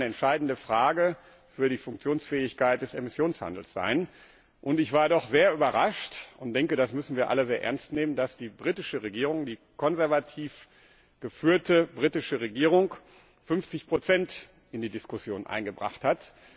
Das wird eine entscheidende Frage für die Funktionsfähigkeit des Emissionshandels. Ich war doch sehr überrascht und denke, das müssen wir alle sehr ernst nehmen, dass die britische Regierung, die konservativ geführte britische Regierung 50 in die Diskussion eingebracht hat.